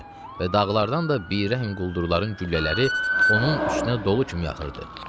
Və dağlardan da bir rəhm quldurların güllələri onun üstünə dolu kimi yağırdı.